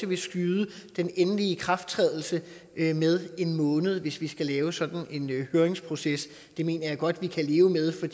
vil skyde den endelige ikrafttrædelse med en måned hvis vi skal lave sådan en høringsproces det mener jeg godt vi kan leve med for